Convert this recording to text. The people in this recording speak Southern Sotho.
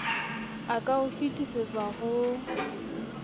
a ka e fetisetsang ho